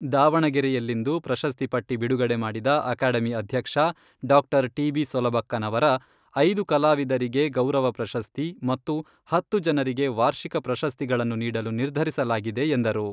ದಾವಣಗೆರೆಯಲ್ಲಿಂದು ಪ್ರಶಸ್ತಿ ಪಟ್ಟಿ ಬಿಡುಗಡೆ ಮಾಡಿದ ಅಕಾಡೆಮಿ ಅಧ್ಯಕ್ಷ ಡಾಕ್ಟರ್ ಟಿಬಿ ಸೊಲಬಕ್ಕನವರ, ಐದು ಕಲಾವಿದರಿಗೆ ಗೌರವ ಪ್ರಶಸ್ತಿ ಮತ್ತು ಹತ್ತು ಜನರಿಗೆ ವಾರ್ಷಿಕ ಪ್ರಶಸ್ತಿಗಳನ್ನು ನೀಡಲು ನಿರ್ಧರಿಸಲಾಗಿದೆ ಎಂದರು.